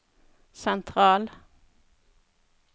sentral